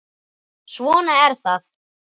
Svona er það.